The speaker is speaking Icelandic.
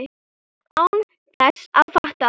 Án þess að fatta það.